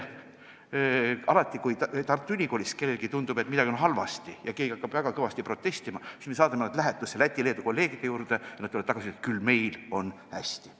Alati, kui Tartu Ülikoolis kellelegi tundub, et midagi on halvasti, ja hakatakse väga kõvasti protestima, siis me saadame nad lähetusse Läti ja Leedu kolleegide juurde, nad tulevad sealt tagasi ja ütlevad, et küll meil on hästi.